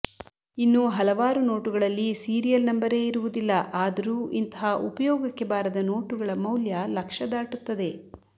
ಇನ್ನು ಹಲವಾರು ನೋಟುಗಳಲ್ಲಿ ಸೀರಿಯಲ್ ನಂಬರೇ ಇರುವುದಿಲ್ಲ ಆದರೂ ಇಂತಹ ಉಪಯೋಗಕ್ಕೆ ಬಾರದ ನೋಟುಗಳ ಮೌಲ್ಯ ಲಕ್ಷ ದಾಟುತ್ತದೆ